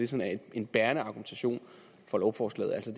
sådan en bærende argumentation for lovforslaget altså